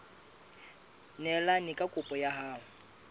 neelane ka kopo ya hao